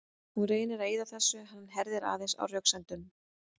Hún reynir að eyða þessu en hann herðir aðeins á röksemdunum.